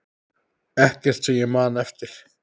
Ekkert sem ég man eftir.